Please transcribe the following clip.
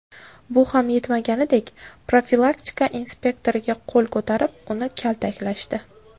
Bu ham yetmagandek, profilaktika inspektoriga qo‘l ko‘tarib, uni kaltaklashdi.